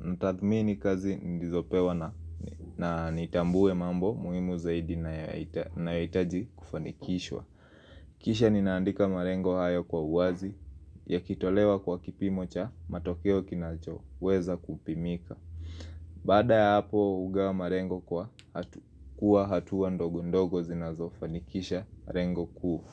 natathmini kazi nilizopewa na nitambue mambo muhimu zaidi yanayohitaji kufanikishwa. Kisha ninaandika malengo hayo kwa uwazi yakitolewa kwa kipimo cha matokeo kinachoweza kupimika. Baada ya hapo, hugawa malengo kuwa hatua ndogo ndogo zinazofanikisha lengo kuu.